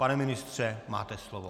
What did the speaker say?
Pane ministře, máte slovo.